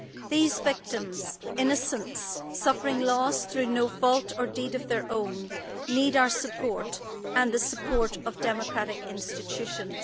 These victims, innocents, suffering loss through no fault or deed of their own, need our support and the support of democratic institutions.